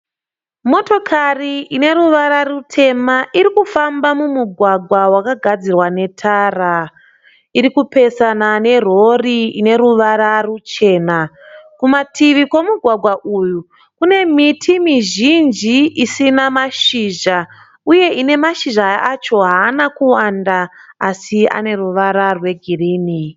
Motokari ine ruvara rutema iri kufamba mumugwagwa wakagadzirwa netara. Iri kupesana nerhorhi ine ruvara ruchena. Kumativi kwemugwagwa uyu kune miti mizhinji isina mashizha uye ine mashizha acho haana kuwanda asi ane ruvara rwegirini.